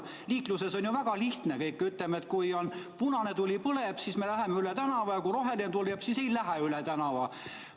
Liikluses on ju kõik väga lihtne: kui põleb punane tuli, siis me ei lähe üle tänava, aga kui roheline tuli, siis läheme üle tänava.